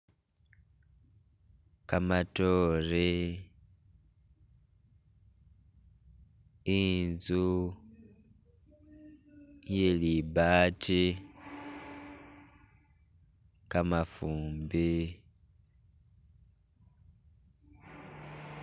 Gamatoore, inzu yelibaati, gamafumbi.